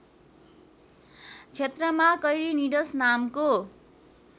क्षेत्रमा कैरिनिड्स नामको